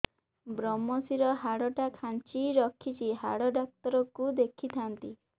ଵ୍ରମଶିର ହାଡ଼ ଟା ଖାନ୍ଚି ରଖିଛି ହାଡ଼ ଡାକ୍ତର କୁ ଦେଖିଥାନ୍ତି